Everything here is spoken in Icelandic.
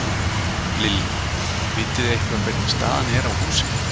Lillý: Vitið þið eitthvað hvernig staðan er á húsinu?